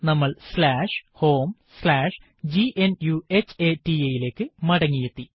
നമ്മൾ homegnuhata ലേക്ക് മടങ്ങിയെത്തി